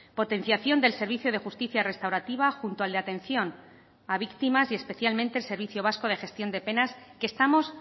potenciación del servicio de justicia restaurativa junto al de atención a víctimas y especialmente el servicio vasco de gestión de penas que estamos